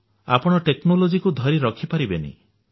ଆପଣ ଟେକ୍ନୋଲୋଜିକୁ ଧରି ରଖି ପାରିବେ ନାହିଁ